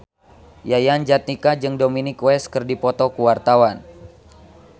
Yayan Jatnika jeung Dominic West keur dipoto ku wartawan